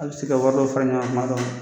A bɛ se ka wari dɔ fara ɲɔgɔn kan tuma dɔ la